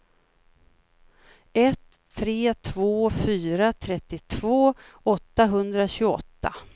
ett tre två fyra trettiotvå åttahundratjugoåtta